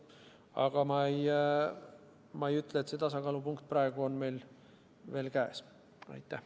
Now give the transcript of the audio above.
Aga ma ei ütle, et see tasakaalupunkt on meil praegu juba käes.